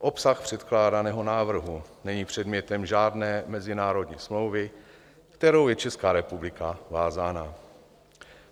Obsah předkládaného návrhu není předmětem žádné mezinárodní smlouvy, kterou je Česká republika vázána.